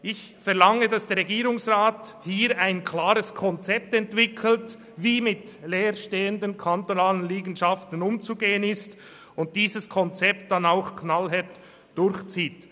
Ich verlange, dass der Regierungsrat hier ein klares Konzept entwickelt, wie mit leer stehenden kantonalen Liegenschaften umzugehen ist, und dieses Konzept dann auch knallhart durchzieht.